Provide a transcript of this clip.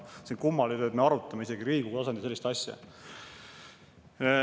See on kummaline, et me Riigikogu tasandil isegi arutame sellist asja.